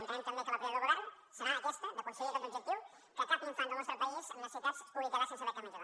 entenem també que la prioritat del govern serà aquesta d’aconseguir aquest objectiu que cap infant del nostre país amb necessitats es pugui quedar sense beca menjador